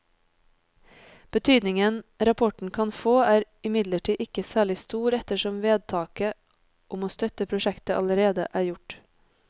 Betydningen rapporten kan få er imidlertid ikke særlig stor ettersom vedtaket om å støtte prosjektet allerede er gjort.